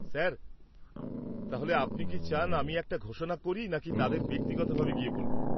Sir, তাহলে আপনি কি চান আমি একটা ঘোষণা করি নাকি তাদের ব্যক্তিগতভাবে গিয়ে বলব?